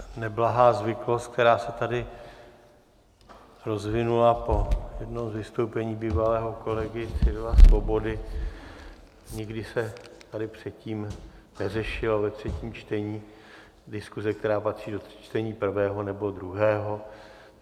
Neblahá zvyklost, která se tady rozvinula po jednom z vystoupení bývalého kolegy Cyrila Svobody, nikdy se tady předtím neřešila ve třetím čtení diskuze, která patří do čtení prvého nebo druhého.